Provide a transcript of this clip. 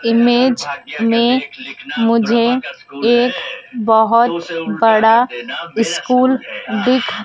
image में मुझे एक बहोत बड़ा स्कूल दिख--